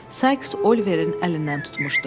Sykes Oliverin əlindən tutmuşdu.